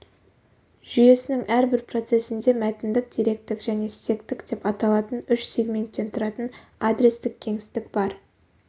жүйесінің әрбір процесінде мәтіндік деректік және стектік деп аталатын үш сегменттен тұратын адрестік кеңістік бар